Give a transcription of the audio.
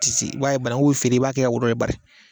Ti se i b'a ye banangu bi feere i b'a kɛ ka wo bɔ bari